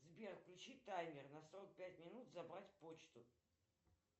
сбер включи таймер на сорок пять минут забрать почту